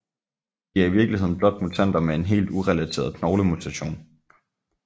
De er i virkeligheden blot mutanter med en helt urelateret knoglemutation